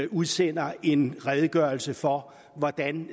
udsender en redegørelse for hvordan